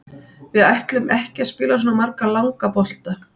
Við ætluðum ekki að spila svona marga langa bolta.